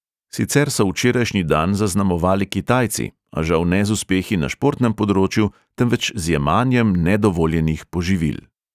Sicer so včerajšnji dan zaznamovali kitajci, a žal ne z uspehi na športnem področju, temveč z jemanjem nedovoljenih poživil.